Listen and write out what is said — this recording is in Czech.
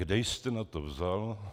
Kde jste na to vzal?